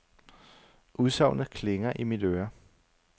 Udsagnet klinger i mit øre.